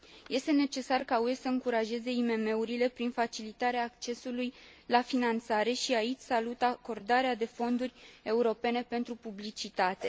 Este necesar ca UE să încurajeze IMM urile prin facilitarea accesului la finanțare, și aici salut acordarea de fonduri europene pentru publicitate.